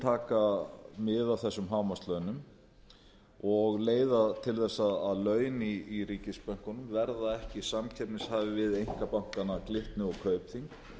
taka mið af þessum hámarkslaunum og leiða til þess að laun í ríkisbönkunum verða ekki samkeppnishæf við einkabankana glitni og kaupþing